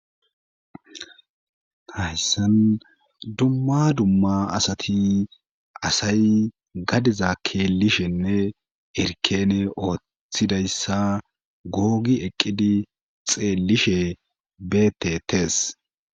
Hayssan dumma dumma asati asay gadiza keelishenne erkene ooththidayssa googi eqqidi xeellishe beetetes.